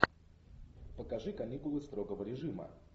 покажи каникулы строгого режима